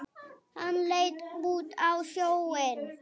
Hann leit út á sjóinn.